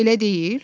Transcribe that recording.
Elə deyil?